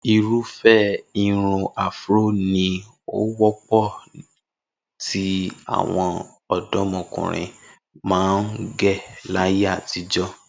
Irúfẹ́ irun afro ni ó wọ́pọ̀ tí àwọn ọ̀dọ́mọkùnrin máa ń gẹ̀ láyé àtijọ́